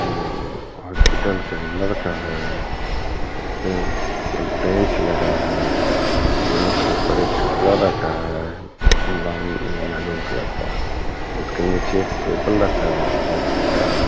Hospital के अंदर का है इसमे एक बेंच लगा है बेंच के ऊपर एक कपड़ा रखा है ब ब्राउन या मैरून कलर का उसके नीचे एक टेबल रखा है प्लास्टिक का।